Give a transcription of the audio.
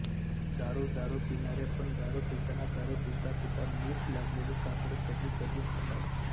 दारू दारू पिणारे पण दारु पिताना दारु पिता पिता मीठ लागलेली काकडी कधी कधी खातात